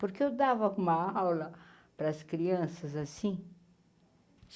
Porque eu dava uma aula para as crianças assim?